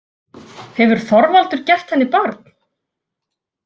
Hefur Þorvaldur gert henni barn?